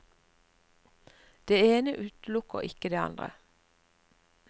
Det ene utelukker ikke det andre.